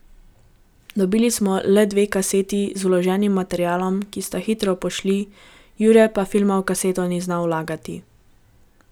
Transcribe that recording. Dobili smo le dve kaseti z vloženim materialom, ki sta hitro pošli, Jure pa filma v kaseto ni znal vlagati.